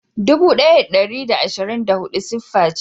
Dubu daya da dari da ashirin da hudu siffa ce.